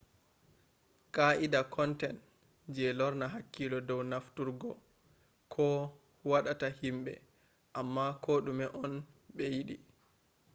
qaa’ida content do lorna hankilo dow heftugo ko wadata himbe umma ko dume on be yidi